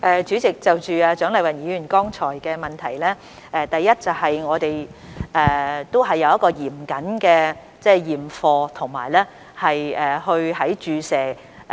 主席，就蔣麗芸議員剛才的補充質詢，第一，我們是有嚴謹的驗貨工序的。